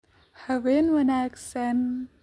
Habeen wanaagsan